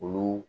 Olu